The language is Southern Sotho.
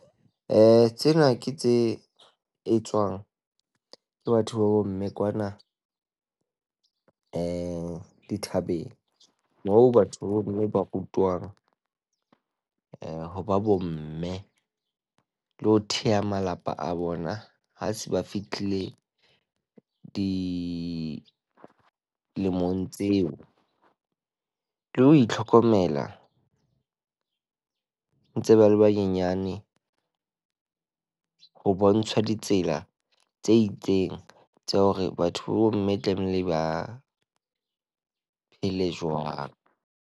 tsena ke tse etswang ke batho ba bomme kwana di dithabeng moo batho ba bomme ba rutwang eh, ho ba bomme. Le ho theha malapa a bona ha se ba fihlile dilemong tseo. Le ho itlhokomela ntse ba le banyenyane, ho bontsha ditsela tse itseng tsa hore batho ba bomme tlamehile ba phele jwang.